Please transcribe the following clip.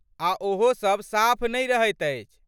आ ओहो सभ साफ नहि रहैत अछि।